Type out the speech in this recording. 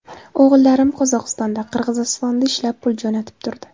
O‘g‘illarim Qozog‘istonda, Qirg‘izistonda ishlab, pul jo‘natib turdi.